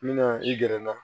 N bɛna i gɛrɛ na